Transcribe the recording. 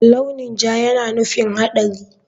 Launi ja yana nufin haɗari.